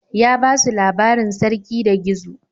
Ya ba su labarin Sarki da Gizo.